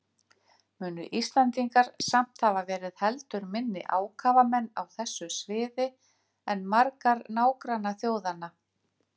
Munu Íslendingar samt hafa verið heldur minni ákafamenn á þessu sviði en margar nágrannaþjóðanna.